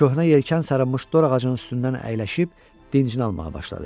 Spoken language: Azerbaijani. Köhnə yelkən sarılmış dor ağacının üstündən əyləşib dincini almağa başladı.